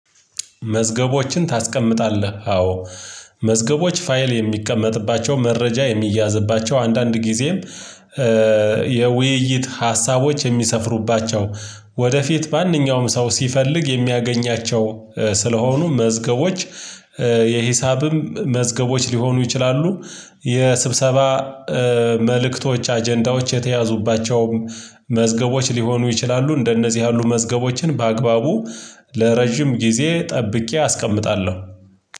መዝገቦችን ታስቀምጣለህ አዎ። መዝገቦች ፋይል የሚቀመጥባቸው መረጃ የሚያዝባቸው አንዳንድ ጊዜም የውይይት ሀሳቦች የሚሰፍሩባቸው ወደፊት ማንኛውም ሰው ሲፈልግ የሚያገኛቸው ስለሆኑ መዝገቦች። የሂሳብም መዝገቦች ሊሆኑ ይችላሉ። የስብሰባ መልእክቶች አጀንዳዎች የተያዙባቸውም ሊሆኑ ይችላሉ። እንደነዚህ ያሉ መዝገቦችን በአግባቡ ለረጅም ጊዜ ጠብቄ አስቀምጣለሁ።